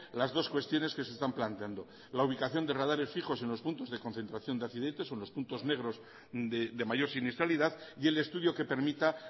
las dos cuestiones que se están planteando la ubicación de radares fijos en los puntos de concentración de accidentes o en los puntos negros de mayor siniestralidad y el estudio que permita